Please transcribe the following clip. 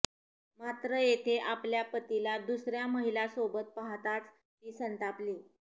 मात्र येथे आपल्या पतीला दुसऱ्या महिलेसोबत पाहताच ती संतापली